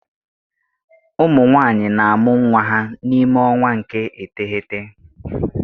Ụmụ nwanyị na-amụ nwa ha n'ime ọnwa nke iteghete